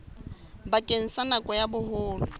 bakeng sa nako ya boholo